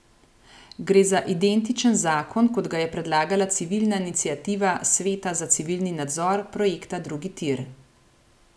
Gre za identičen zakon, kot ga je predlagala civilna iniciativa Sveta za civilni nadzor projekta Drugi tir.